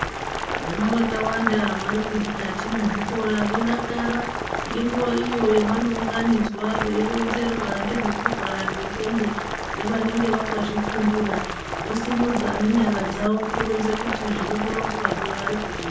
Vana vakawanda varimukati mwezvikora vodakara ngenguva iyo yavanounganidzwa veironzerwa ngezvekurwara kwendxondo ngevanenge vakazvifundira, vosumudza nenyara kukombe kuti zvirikuronzwazvo varikuzvi.